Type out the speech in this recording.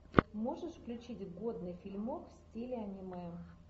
можешь включить годный фильмок в стиле аниме